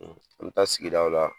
An mi taa sigi daw la